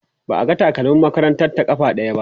ba a ga takalmin makarantar ta ƙafa ɗaya ba